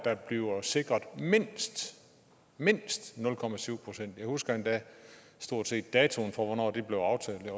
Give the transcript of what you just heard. der bliver sikret mindst mindst nul procent jeg husker endda datoen for hvornår det blev aftalt jeg